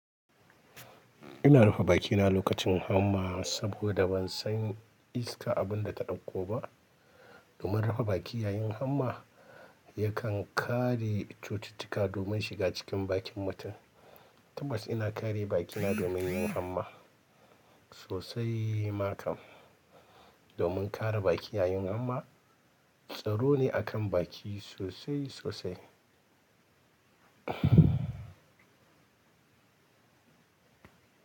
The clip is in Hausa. Ina rufe bakina lokacin hamma saboda ban san iska abin da ta ɗauko ba. Domin rufe baki yayin hamma yakan kare cututtuka domin shiga cikin bakin mutum. Tabbas ina kare bakina domin yin hamma sosai makan. Domin kare baki yayin hamma, tsaro ne akan baki sosai sosai.